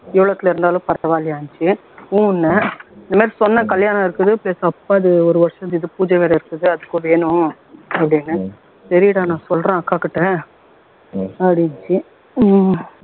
எவ்வளவுத்துல இருந்தாலும் பரவாயில்லையான்னுச்சு ஊம் னேன் இந்தமாதிரி சொன்னேன் கல்யாணம் இருக்குது அப்பாவுது ஒரு வருஷ பூஜை வேற இருக்குது அதுக்கும் வேணும் அப்படின்னேன் சரிடா நான் சொல்றேன் அக்காகிட்ட அப்படின்னுச்சு உம்